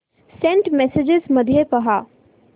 Saint messages मध्ये पहा